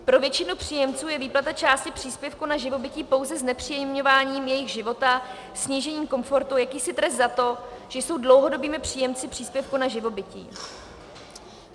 Pro většinu příjemců je výplata části příspěvku na živobytí pouze znepříjemňováním jejich života, snížením komfortu, jakýsi trest za to, že jsou dlouhodobými příjemci příspěvku na živobytí.